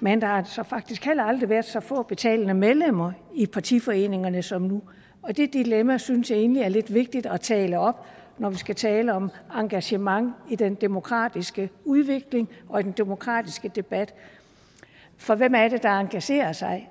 men der har så faktisk heller aldrig været så få betalende medlemmer i partiforeningerne som nu og det dilemma synes jeg egentlig er lidt vigtigt at tale op når vi skal tale om engagement i den demokratiske udvikling og i den demokratiske debat for hvem er det der engagerer sig